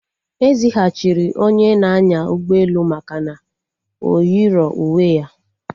Ezighachiri onye na-anya ụgbọelu maka na o yirọ uwe ya